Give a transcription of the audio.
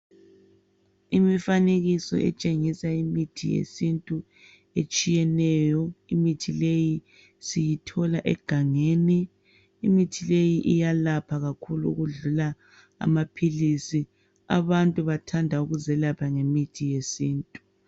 Imifanekiso etshengisa imithi yesintu etshiyeneyo. Imithi leyi siyithola egangeni. Imithi leyi iyelapha kakhulu okudlula amaphilisi. Abantu bathanda ukuzelapha ngemithi yesintu.